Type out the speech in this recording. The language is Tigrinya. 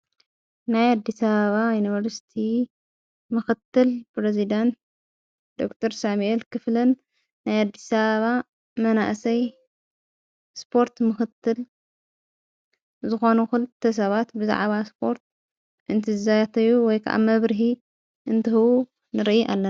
ናይ ኣዲስኣበባ ዩኒቨርስቲ ምኽትል ፕረዜዳንት ዶክተር ሳሚኤል ክፍለን ናይ ኣዲስኣበባ መናእሰይ ስፖርት ምኽትል ዝኾኑ ዂልተ ሰባት ብዛዕባ ስፖርት እንቲዛተዩ ወይከዓ መብርሂ እንትህቡ ንርኢ ኣለና።